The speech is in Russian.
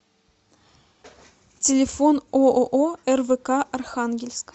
телефон ооо рвк архангельск